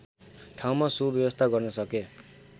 ठाउँमा सुव्यवस्था गर्न सके